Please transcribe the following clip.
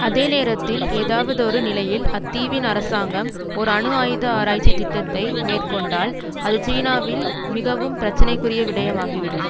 அதே நேரத்தில் ஏதாவதொரு நிலையில் அத்தீவின் அரசாங்கம் ஓர் அணு ஆயுத ஆராய்ச்சி திட்டத்தை மேற்கொண்டால் அது சீனாவில் மிகவும் பிரச்சனைக்குரிய விடயமாகிவிடும்